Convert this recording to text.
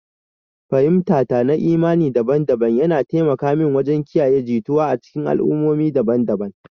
Fahimtata na imani daban-daban yana taimaka mini wajen kiyaye jituwa a cikin al'ummomi daban-daban.